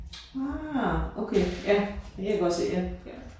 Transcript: Ah okay. Ja det kan jeg godt se ja